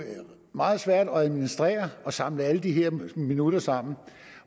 meget svært at administrere og samle alle de her minutter sammen